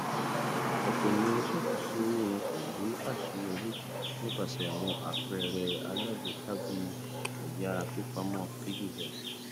àpapọ àwọn ohun èlò tó rọrùn láti lò lori pẹpẹ ileifowopamọ ori ayelujara ti dín àṣìṣe kù ganan